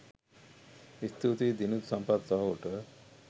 ස්තුතියි දිනිඳු සම්පත් සහෝට